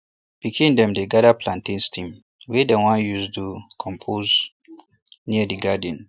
pikin dem dey gather plantain stem wey dem wan use do compost near di garden